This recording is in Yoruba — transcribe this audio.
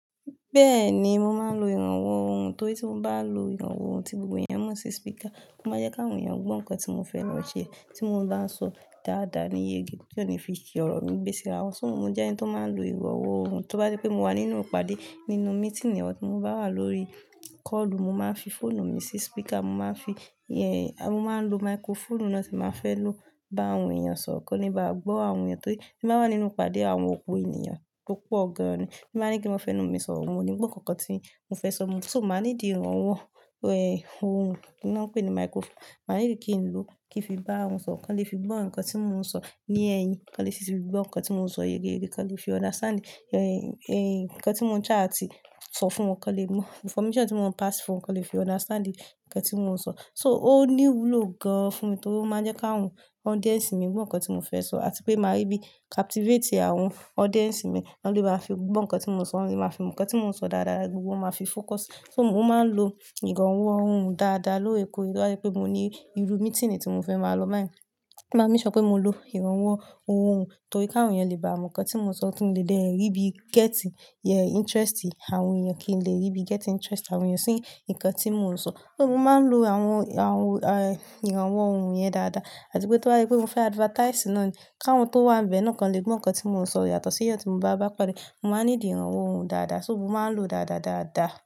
Bẹ́ẹ̀ni, mo máa ń lo ìrànwọ́ ohùn torí tí mo bá lo ìrànwọ́ ohùn, tí gbogbo èèyàn mọ sí speaker, ó máa jẹ́ kí àwọn èèyàn gbọ́ nǹkan tí mo fẹ́ lo ṣe. Tí mo ń bá ń sọ dáadáa ní yegi tio ni fi ṣi ọ̀rọ̀ mí gbé síra wọn. So mo jẹ́ ẹni tó máa ń lo ìrànwọ́ ohùn, tó bá jẹ́ pé mo wà nínú ìpàdé, nínú meeting or tí mo bá wà lórí call, mo máa ń fi fóònù mi sí speaker, mo máa ń fi, ẹ́, mo máa ń lo microphone náà tí mo fẹ́ lò bá àwọn èèyàn sọ̀rọ̀ kí ó lè bá gbọ́ àwọn èèyàn. Torí tí n bá wà nínú ìpàdé àwọn ọ̀pọ̀ ènìyàn tó pọ̀ gan-an ni, tí n bá ní kin máa fẹ́ nú mi sọ̀rọ̀, wọ́n ò ní gbọ́ nǹkan tí mo fẹ́ sọ. So mo máa need ìrànwọ́, ẹ́, ohùn tí wọ́n ń pè ní microphone. Màá need kí n lò kí fi bá àwọn sọ̀rọ̀ kan lè fi gbọ́ nǹkan tí mò ń sọ ní ẹ̀yìn, kan lè sì fi gbọ́ nǹkan tí mò ń sọ yegeyege, kan lè fi understand, ẹ́, ẹ́, nǹkan tí mò ń try àti sọ fún wọn kí wọ́n lè mọ. Information tí mò ń pass fún wọn kí wọ́n lè fi understand nǹkan tí mò ń sọ. So ó ní wúlò gan-an fún mi torí ó máa ń jẹ́ kí àwọn audience mi gbọ́ nǹkan tí mo fẹ́ sọ àti pé máa rí bí captivate àwọn audience mi, wọ́n lè bá fi gbọ́ nǹkan tí mò ń sọ, wọ́n lè bá fi nǹkan tí mò ń sọ dáadáa gbogbo máa fi focus. So mo máa ń lo ìrànwọ́ ohùn dáadáa lóòrèkóòrè. Tó bá jẹ́ pé mo ní irú meeting ni tí mo fẹ́ máa lọ báyìí, máa make sure pé mo lo ìrànwọ́ ohùn torí kí àwọn èèyàn lè bá mọ nǹkan tí mo sọ kí wọ́n lè dé rí bí get, ẹ́, interest àwọn èèyàn kí n lè rí bí get in interest àwọn èèyàn sí nǹkan tí mò ń sọ. So mo máa ń lo àwọn, àwọn, ẹ́, ìrànwọ́ ohùn yẹn dáadáa àti pé tí wọ́n bá pé mo fẹ́ advertise náà ni kí àwọn tó wà níbẹ̀ náà kí wọ́n lè gbọ́ nǹkan tí mò ń sọ yàtọ̀ sí iyẹn tí mo bá bá pàdé, mo máa need ìrànwọ́ ohùn dáadáa. So mo máa ń lò ó dáadáa, dáadáa.